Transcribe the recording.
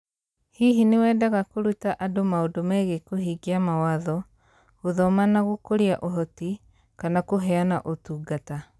Hihi nĩ wendaga kũruta andũ maũndũ megiĩ kũhingia mawatho, gũthoma na gũkũria ũhoti, kana kũheana ũtungata ?